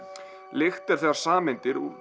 lykt er þegar sameindir